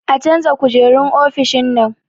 A canza kujerun ofishin nan